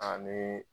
Ani